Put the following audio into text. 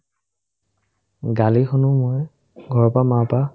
গালি শুনো মই ঘৰৰ পা মাৰ পা